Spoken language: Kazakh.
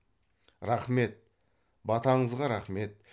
рақмет батаңызға рақмет